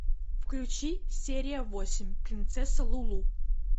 включи серия восемь принцесса лулу